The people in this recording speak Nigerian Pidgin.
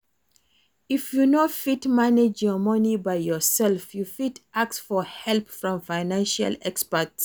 If you no fit manage your money by yourself, you fit ask for help from financial expert